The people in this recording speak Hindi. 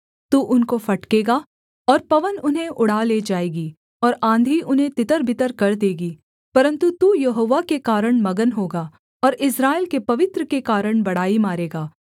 तू उनको फटकेगा और पवन उन्हें उड़ा ले जाएगी और आँधी उन्हें तितरबितर कर देगी परन्तु तू यहोवा के कारण मगन होगा और इस्राएल के पवित्र के कारण बड़ाई मारेगा